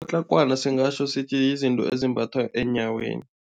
Patlagwana singatjho sithi yizinto ezimbathwa eenyaweni.